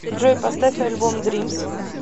джой поставь альбом дримс